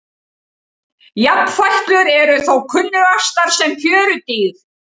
Jafnfætlur eru þó kunnugastar sem fjörudýr.